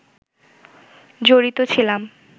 জড়িত ছিলাম